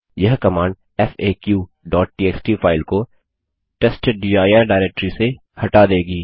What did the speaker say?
यह कमांड faqटीएक्सटी फाइल को testdir डाइरेक्टरी से हटा देगी